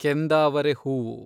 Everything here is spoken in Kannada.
ಕೆಂದಾವರೆ ಹೂವು